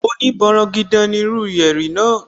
Oní bọrọgidan ní irú yẹ̀rì náà